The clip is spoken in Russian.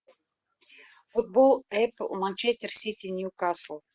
футбол апл манчестер сити ньюкасл